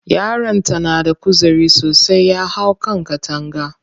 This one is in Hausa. Yaron ta na da kuzari sosai, ya hau kan takanga.